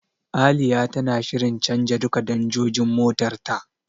Aliya tana shirin canja duka danjojin motar ta.